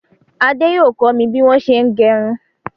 Ade yóò kọ mi bí wọn ṣé ń gẹrún.